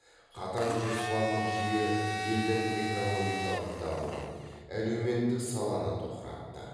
қатаң жоспарлық жүйе елдің экономикалық дамуын әлеуметтік саланы тоқыратты